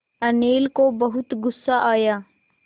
अनिल को बहुत गु़स्सा आया